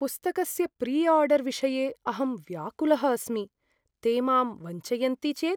पुस्तकस्य प्रिआडर् विषये अहं व्याकुलः अस्मि, ते मां वञ्चयन्ति चेत्?